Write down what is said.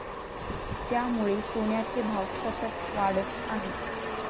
त्यामुळे सोन्याचे भाव सतत वाढत आहेत.